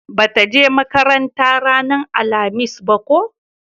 ba ta je makaranta ranar alhamis ba ko?